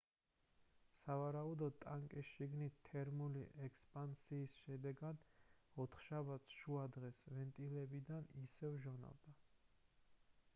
სავარაუდოდ ტანკის შიგნით თერმული ექსპანსიის შედეგად ოთხშაბათს შუადღეს ვენტილებიდან ისევ ჟონავდა